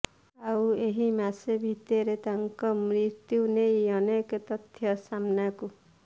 ଆଉ ଏହି ମାସେ ଭିତରେ ତାଙ୍କ ମୃତ୍ୟୁ ନେଇ ଅନେକ ତଥ୍ୟ ସାମ୍ନାକୁ